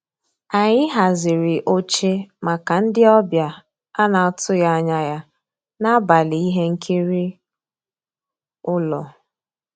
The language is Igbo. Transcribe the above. Ànyị́ hàzírí óché màkà ndị́ ọ̀bịá á ná-àtụ́ghị́ ànyá yá n'àbàlí íhé nkírí ụ́lọ́.